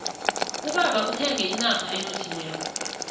ubaba uthenge inrha enothileko